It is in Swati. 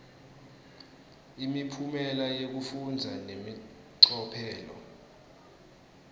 imiphumela yekufundza nemacophelo